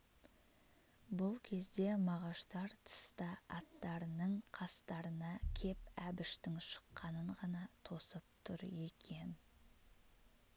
бұл кезде мағаштар тыста аттарының қастарына кеп әбіштің шыққанын ғана тосып тұр екен